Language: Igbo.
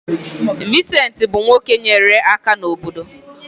Vincent bụ nwoke nyere aka n’obodo.